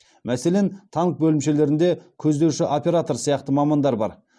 мәселен танк бөлімшелерінде көздеуші оператор сияқты мамандар бар